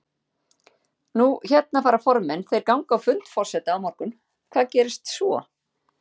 Nú hérna fara formenn, þeir ganga á fund forseta á morgun, hvað gerist svo?